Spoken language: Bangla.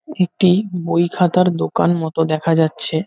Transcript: একটি বই খাতার দোকান মত দেখা যাচ্ছে।